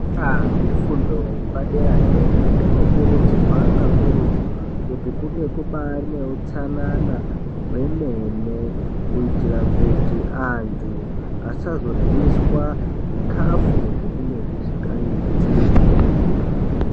Kuzvikora zvefundo yepadera dera kunokurudzirwa kakurutu kuti kunge kubari neutsanana hwenene kuitire kuti antu asazoryiswa zvikafu zvinenge zvisikaiti.